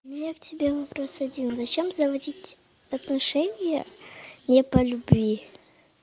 у меня к тебе вопрос один зачем заводить отношения не по любви